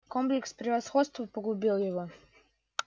комплекс превосходства погубил его